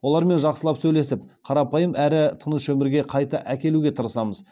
олармен жақсылап сөйлесіп қарапайым әрі тыныш өмірге қайта әкелуге тырысамыз